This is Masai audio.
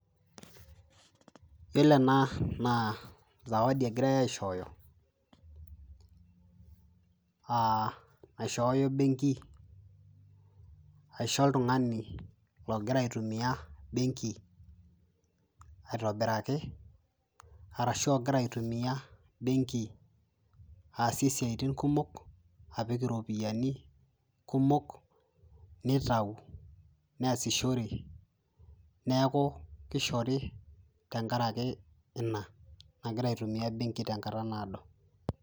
Yiolo ena na sawadi egirai aishooyo aa naishooyo embenki aisho oltungani ogira aitumia embenki aitobiraki arashu ogira aitumia embenki aasie siatin kumok apik ropiyani kumok netau neasishoreki, neaku kishori tenkaraki ina nagira aitumia embenki tenkata naado.